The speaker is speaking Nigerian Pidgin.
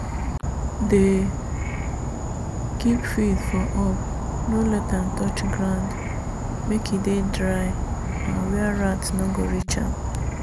dey keep feed for up no let am touch ground—make e dey dry and where rat no go reach am.